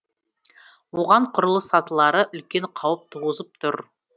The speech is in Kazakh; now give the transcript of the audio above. оған құрылыс сатылары үлкен қауіп туғызып тұр